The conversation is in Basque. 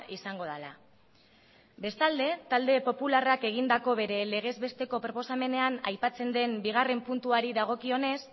izango dela bestalde talde popularrak egindako bere legez besteko proposamenean aipatzen den bigarrena puntuari dagokionez